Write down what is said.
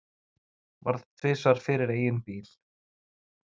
Varð tvisvar fyrir eigin bíl